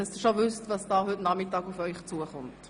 Nur, damit Sie wissen, was heute Nachmittag auf Sie zukommt.